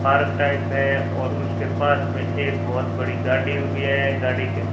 park type है और उसके पास में एक बहोत बड़ी गाड़ी रुकी है गाड़ी के--